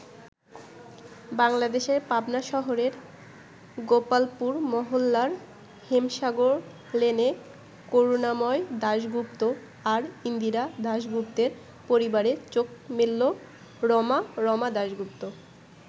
বাংলাদেশের পাবনা শহরের গোপালপুর মহল্লার হেমসাগর লেনে করুনাময় দাশগুপ্ত আর ইন্দিরা দাশগুপ্তের পরিবারে চোখ মেলল রমা, রমা দাশগুপ্ত।